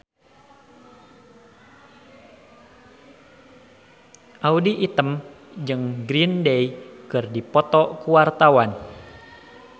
Audy Item jeung Green Day keur dipoto ku wartawan